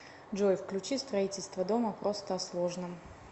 джой включи строительство дома просто о сложном